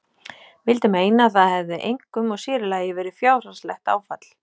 Vildi meina að það hefði einkum og sérílagi verið fjárhagslegt áfall.